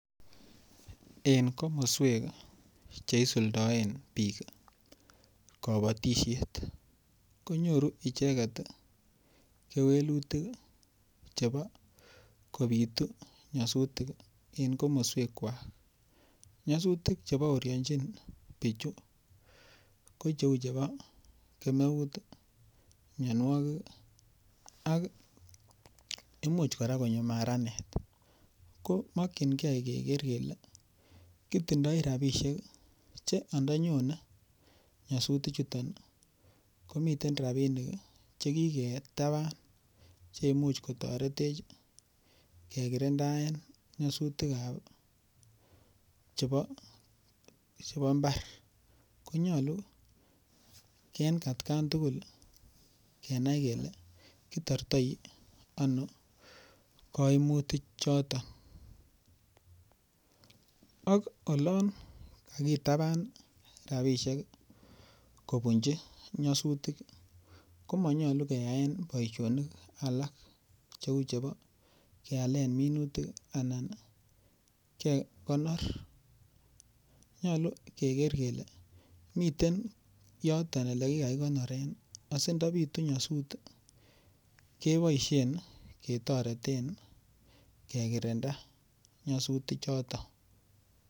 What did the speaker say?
En komoswek che isuldaen biik kobotishet konyoruicheget kewelutik chebo kobitu nyasutik en komoswek kwak. Nysutik che baoryonchin bichu ko cheu chebo: Kemeut, mianwogik, ak imuch kora konyo maranet. Ko mokinge kigere kole kitindoi rabishek che ondonyone nyasutik chuton komiten rabinik che kigetaban che imuch kotoretech kekirindaen nyasutik chebo mbar. Konyolu en atkan tugul kenai kele kitortoi ano kaimutik choto, ak olon kagitaban rabishek kounji nyasutik, komonyolu keyaen boisionik alak cheu chebo kealen minutik anan kekonor nyolu keger kele miten yoton ole kigakikonoren asindo bitu nyasut keboishen ketoreten kekirinda nyasutik choto.